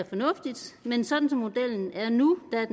fornuftigt men sådan som modellen er nu er